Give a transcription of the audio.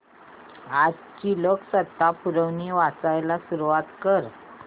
आजची लोकसत्ता पुरवणी वाचायला सुरुवात कर